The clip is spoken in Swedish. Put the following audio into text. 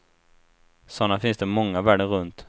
Sådana finns det många världen runt.